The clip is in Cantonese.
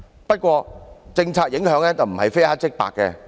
不過，政策影響不是非黑即白。